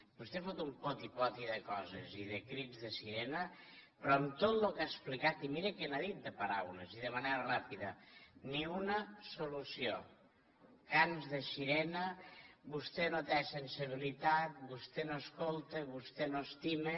vostè fot un poti poti de coses i de crits de sirena però en tot el que ha explicat i miri que n’ha dit de paraules i de manera ràpida ni una solució camps de sirena vostè no té sensibilitat vostè no escolta vostè no estima